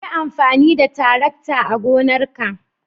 Yi amfani da tarakta a gonarka.